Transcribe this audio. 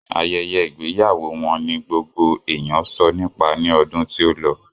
Ayẹyẹ ìgbéyàwó wọn ni gbogbo èèyàn sọ nípa ní ọdún tí ó lọ